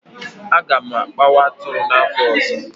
A ga m akpawa atụrụ n'afọ ọzọ